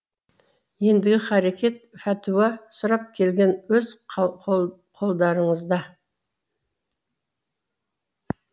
ендігі харекет фәтуә сұрап келген өз қолдарыңызда